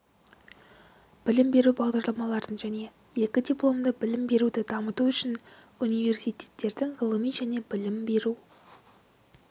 білім беру бағдарламаларын және екі дипломды білім беруді дамыту үшін университеттердің ғылыми және білім беру